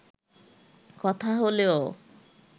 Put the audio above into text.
কথা হলেও